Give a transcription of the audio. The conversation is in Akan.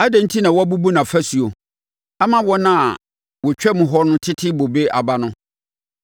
Adɛn enti na woabubu nʼafasuo ama wɔn a wɔtwam hɔ tete ne bobe aba no?